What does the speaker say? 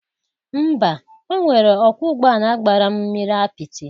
Mba, o nwere ọkwọ ụgbọ ala gbara m mmiri apịtị